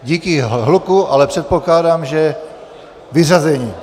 Díky hluku, ale předpokládám, že vyřazení.